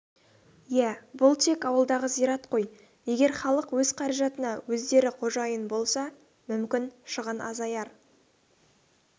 иә бұл тек ауылдағы зират қой егер халық өз қаражатына өздері қожайын болса мүмкін шығын азаяр